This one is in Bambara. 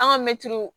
An ka mɛtiriw